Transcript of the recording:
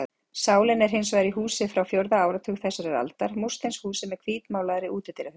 Sálin er hins vegar í húsi frá fjórða áratug þessarar aldar, múrsteinshúsi með hvítmálaðri útidyrahurð.